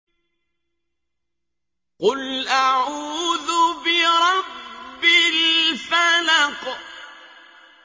قُلْ أَعُوذُ بِرَبِّ الْفَلَقِ